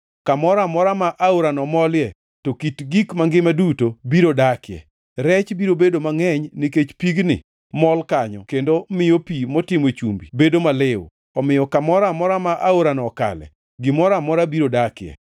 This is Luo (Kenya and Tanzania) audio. Kamoro amora ma aorano molie to kit gik mangima duto biro dakie. Rech biro bedo mangʼeny nikech pigni mol kanyo kendo miyo pi motimo chumbi bedo maliw, omiyo kamoro amora ma aorano okale, gimoro amora biro dakie.